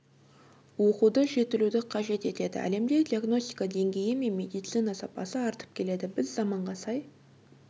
оқуды жетілуді қажет етеді әлемде диагностика деңгейі мен медицина сапасы артып келеді біз заманға сай